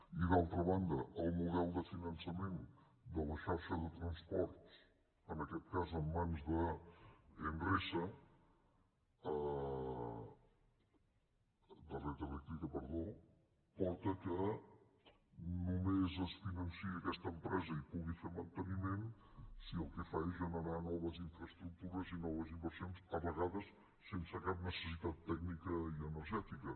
i d’altra banda el model de finançament de la xarxa de transports en aquest cas en mans de red eléctrica porta que només es financi aquesta empresa i pugui fer manteniment si el que fa és generar noves infraestructures i noves inversions a vegades sense cap necessitat tècnica ni energètica